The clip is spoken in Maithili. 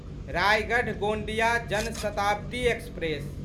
रायगढ़ गोंदिया जन शताब्दी एक्सप्रेस